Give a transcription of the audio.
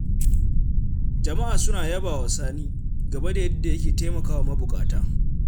Jama'a suna yabawa Sani, game da yadda yake taimakawa mabuƙata.